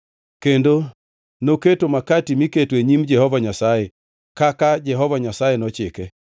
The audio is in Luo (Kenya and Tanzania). kendo noketo makati miketo e nyim Jehova Nyasaye kaka Jehova Nyasaye nochike.